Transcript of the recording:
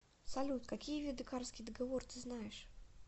салют какие виды карский договор ты знаешь